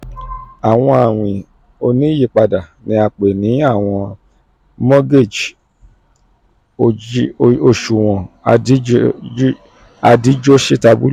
awọn awin oniyipada ni a pe ni awọn mogeji oṣuwọn adijositabulu (arms).